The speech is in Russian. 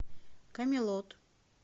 камелот